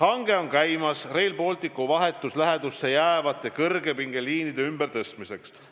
Hange on käimas Rail Balticu vahetusse lähedusse jäävate kõrgepingeliinide ümbertõstmiseks.